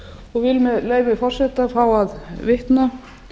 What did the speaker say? og vil með leyfi forseta fá að vitna